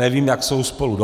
Nevím, jak jsou spolu